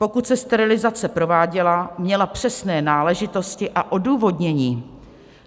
Pokud se sterilizace prováděla, měla přesné náležitosti a odůvodnění.